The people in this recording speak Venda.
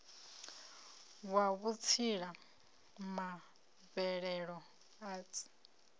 wa vhutsila ma mvelelo arts